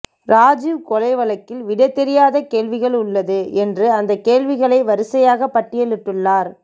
ராஜீவ் கொலை வழக்கில் விடை தெரியாத கேள்விகள் உள்ளது என்று அந்தக் கேள்விகளை வரிசையாகப் பட்டியலிட்டுள்ளார்